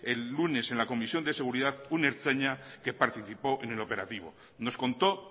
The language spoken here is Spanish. el lunes en la comisión de seguridad un ertzaina que participó en el operativo nos contó